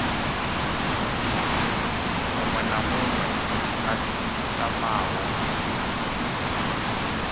muṅwe na muṅwe a tamaho